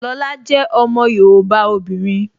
Lọla jẹ́ ọmọ yoòbá obìnrin